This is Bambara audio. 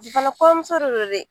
fana kɔɲɔmuso de don dɛ